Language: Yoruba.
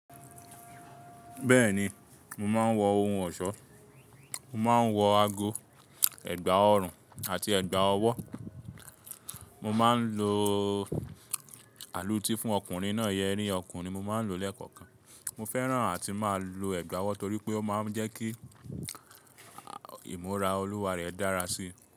Bẹ́ẹ̀ni, mo máa ń wọ ohun ọ̀ṣọ́. Mo máa ń wọ ago, ẹ̀gbà ọrùn àti ẹ̀gbà ọwọ́. Mo máa ń lo àlùtì fún ọkùnrin náà yẹrí ọkùnrin. Mo máa ń lo lẹ́kọ̀ọ̀kan. Mo fẹ́ràn àti máa lo ẹ̀gbà ọwọ́ torí pé ó máa ń jẹ́ kí ìmúra olúwa rẹ dára sí i.